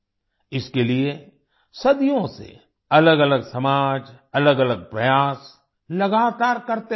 इसके लिए सदियों से अलगअलग समाज अलगअलग प्रयास लगातार करते आये हैं